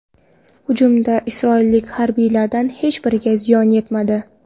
Hujumda isroillik harbiylardan hech biriga ziyon yetmadi.